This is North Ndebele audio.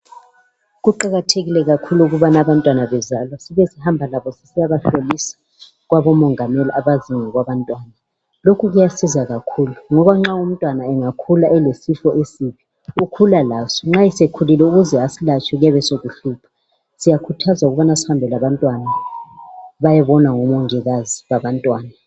Kuqakathekile kakhulu ukubana abantwana bezalwa sibe sihamaba labo sisiya bahlolisa kwabomongameli abakwaziyo ngokwabantwana lokhu kuyasisiza kakhulu ngoba nxa umntwana engakhula elesifo esibi ukhula laso nxa sekhulile ukuze asilatshe kuyabe sokuhlupha. Siyakhuthazwa ukubana sihambe labantwana bayebonwa ngomongikazi babantwana.